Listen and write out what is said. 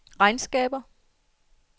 regnskaber